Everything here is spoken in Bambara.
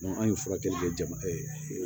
anw ye furakɛli kɛ jamana ye